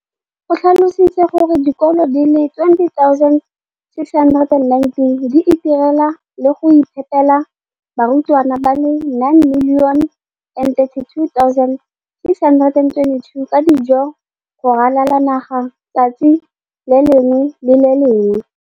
o tlhalositse gore dikolo di le 20 619 di itirela le go iphepela barutwana ba le 9 032 622 ka dijo go ralala naga letsatsi le lengwe le le lengwe.